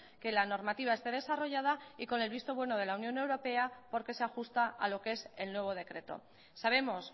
que la normativa esté desarrollada y con el visto bueno de la unión europea porque se ajusta a lo que es el nuevo decreto sabemos